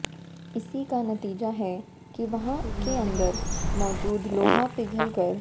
इसी का नतीजा है कि वहां के अंदर मौजूद लोहा पिघलकर